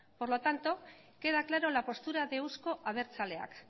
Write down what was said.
por lo tanto queda claro la postura de euzko abertzaleak